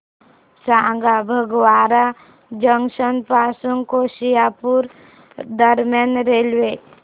सांगा फगवारा जंक्शन पासून होशियारपुर दरम्यान रेल्वे